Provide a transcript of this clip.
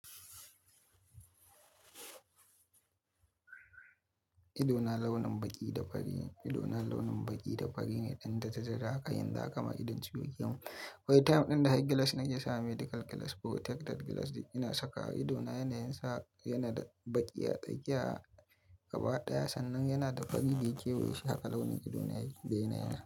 Idona launin baƙi da farine. Idona launin baƙi da fari ne ɗan dara dara haka ka yanzu haka ma idon ciwo yakemin. Akwai time ɗin da har gilas na ke sawa medical gilas protected gilas duk ina sakawa idona, yana yinsa yana da baƙi a tsakiya gaba ɗaya sannan yana da fari daya kewayeshi haka launin idona yake. Da yana yi na.